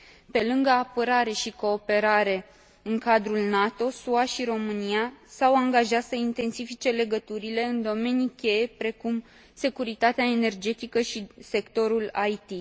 Pe lângă apărare și cooperare în cadrul NATO, SUA și România s au angajat să intensifice legăturile în domenii cheie, precum securitatea energetică și sectorul IT.